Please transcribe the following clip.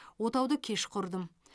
отауды кеш құрдым